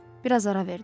Bir az ara verdi.